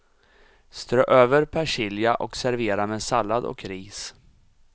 Strö över persilja och servera med sallad och ris.